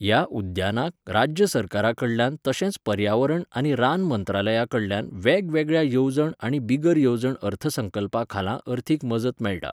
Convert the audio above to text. ह्या उद्यानाक राज्य सरकारा कडल्यान तशेंच पर्यावरण आनी रान मंत्रालया कडल्यान वेगवेगळ्या येवजण आनी बिगर येवजण अर्थसंकल्पा खाला अर्थीक मजत मेळटा.